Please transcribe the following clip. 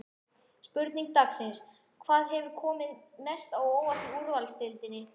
Spurning dagsins: Hvað hefur komið mest á óvart í úrvalsdeildinni?